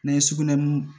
N'an ye sugunɛbilenni